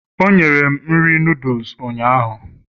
o nyere m nri noodles ụnyaahụ